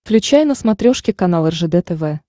включай на смотрешке канал ржд тв